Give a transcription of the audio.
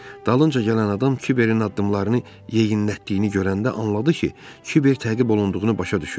Dalınca gələn adam Kiverin addımlarını yeyinlətdiyini görəndə anladı ki, Kiver təqib olunduğunu başa düşüb.